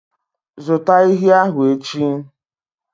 Zụta ehi ahụ echi!